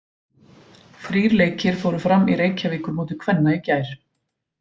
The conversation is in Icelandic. Þrír leikir fóru fram í Reykjavíkurmóti kvenna í gær.